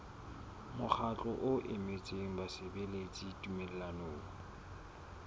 mokgatlo o emetseng basebeletsi tumellanong